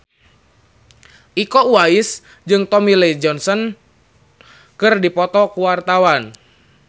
Iko Uwais jeung Tommy Lee Jones keur dipoto ku wartawan